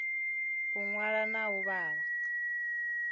u ṅwala na u vhala